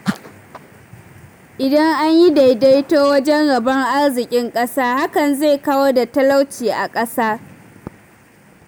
Indan anyi daidaito wajen rabon arzikin ƙasa hakan zai kawar da talauci a ƙasa.